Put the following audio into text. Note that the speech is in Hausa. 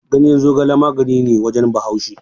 Ganyen zogala magani ne a wajen Bahaushe.